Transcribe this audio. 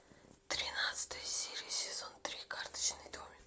тринадцатая серия сезон три карточный домик